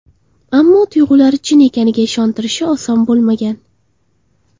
Ammo tuyg‘ulari chin ekaniga ishontirishi oson bo‘lmagan.